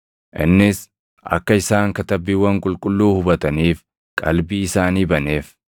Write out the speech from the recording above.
Innis akka isaan Katabbiiwwan Qulqulluu hubataniif qalbii isaanii baneef.